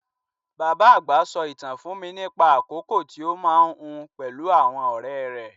Bàbá àgbà sọ ìtàn fún mi nípa àkókò tí ó máa ń hun pẹ̀lú àwọn ọ̀rẹ́ rẹ̀.